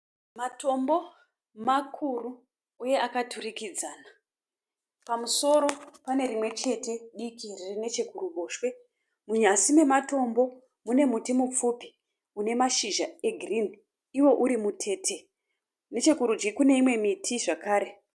Matombo makuru uye akaturikidzana. Pamusoro pane rimwechete diki riri nechekuruboshwe .Munyasi mematombo mune muti mupfupi une mashizha egirinhi iwo uri mutete .Nechekurudyi kune imwe miti zvakare.